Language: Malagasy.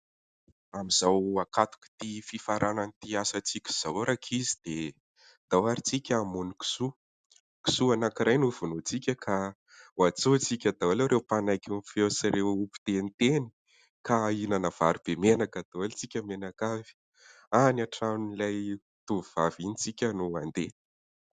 Amin'izao ankatok'ity fifaranan'ity asantsika izao rankizy dia andao ary isika hamono kisoa. Kisoa anankiray no ho vonointsika ka ho antsointsika daholo ireo panaiky ny feo sy ireo mpiteniteny ka hihinana vary be menaka daholo isika mianakavy. Any antranon'ilay tovovavy iny isika no andeha.